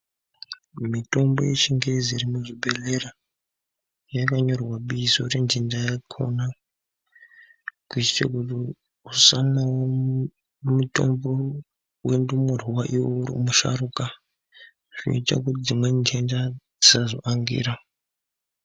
Mitombo yechingezi irimu chibhedhlera yakanyorwa bizo yentenda yakona, kuitira kuti usamwawo mutombo wendumurwa iwewe uri musharukwa. Zvinoita kuti dzimweni ntenda dzisazoangira.